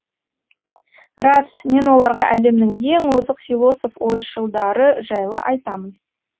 рас мен оларға әлемнің ең озық философ ойшылдары жайлы айтамын